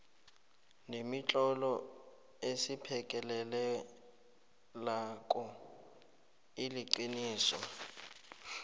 nemitlolo esiphekelelako iliqiniso